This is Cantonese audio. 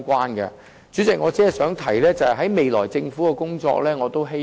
代理主席，我只想提出我對政府未來工作的期望。